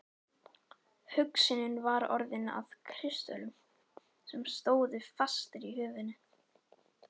Hugsunin var orðin að kristöllum sem stóðu fastir í höfðinu.